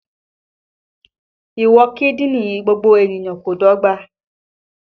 Ìwọ̀n kídìní gbogbo ènìyàn kò dọ́gba